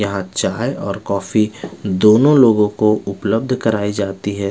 यहाँ चाय और कॉफी दोनों लोगोंको उपलब्ध कराई जाती है।